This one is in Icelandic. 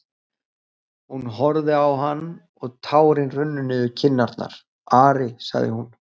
Hún horfði á hann og tárin runnu niður kinnarnar:-Ari, sagði hún.